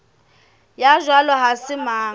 ya jwalo ha se mang